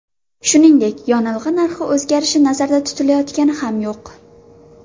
Shuningdek, yonilg‘i narxi o‘zgarishi nazarda tutilayotgani ham yo‘q.